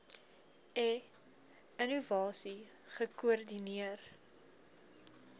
e innovasie gekoordineer